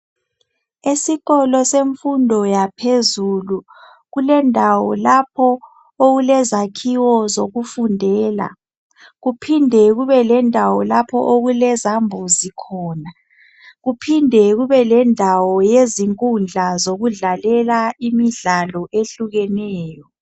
Esikolo semfundo yaphezulu kulendawo lapho okulezakhiwo zokufundela kuphinde kube lendawo lapho okulezambuzi khona, kuphinde kube lendawo yezinkundla zokudlalela imidlalo ehlukeneyo.